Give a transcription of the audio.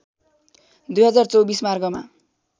२०२४ मार्गमा